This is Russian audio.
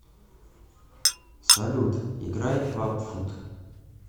салют играй клаб фут